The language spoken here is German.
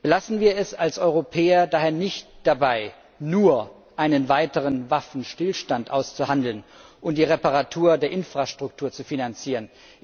Lassen wir es als Europäer daher nicht dabei, nur einen weiteren Waffenstillstand auszuhandeln und die Reparatur der Infrastruktur zu finanzieren.